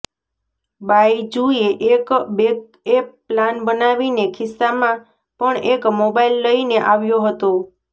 બાઈજૂએ એક backup plan બનાવીને ખિસ્સામાં પણ એક મોબાઈલ લઈને આવ્યો હતો